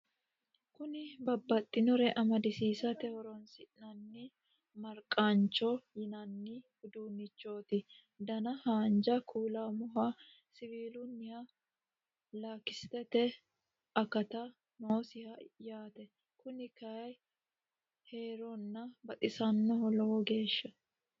kuni babbaxinore amadisiisate horoonsi'nanni maragacaho yinanni uduunnichooti dana haanja kuulaammohho siwiluna lakistete akati noosiho yaate kuni kayi heerona baxisannoho lowo geeshshana